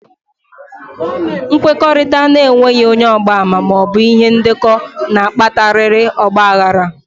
Nkwekọrịta n'enweghi ónyé ọgba-ama maọbụ ihe ndeko n'akpatariri ọgba aghara